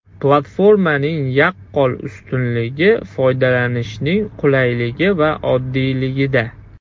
Platformaning yaqqol ustunligi foydalanishning qulayligi va oddiyligida.